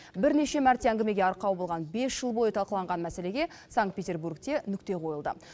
бірнеше мәрте әңгімеге арқау болған бес жыл бойы талқыланған мәселеге санкт петербургте нүкте қойылды